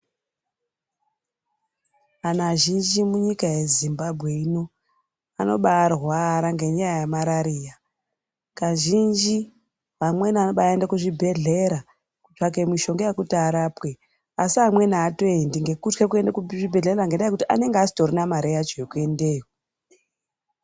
Antu azhinji munyika yeZimbabwe ino anobaarwara ngenyaya yemarariya. Kazhinji vamweni anobaaende kuzvibhehlera kutsvake mishonga yekuti varapwe asi amweni aatoendi ngekutye kuende kuzvibhehlera ngendaa yekuti anenge asitorina mare yacho yekuendeyo.